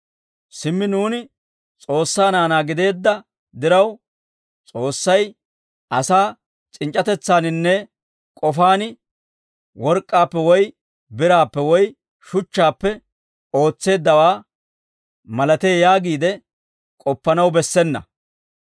Simmi nuuni S'oossaa naanaa gideedda diraw, S'oossay asaa c'inc'c'atetsaaninne k'ofaan work'k'aappe woy biraappe woy shuchchaappe oosetteeddawaa malatee yaagiide, k'oppanaw bessena.